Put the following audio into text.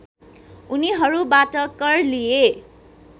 उनीहरूबाट कर लिए